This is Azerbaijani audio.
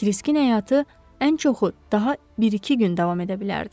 Kriskin həyatı ən çoxu daha bir-iki gün davam edə bilərdi.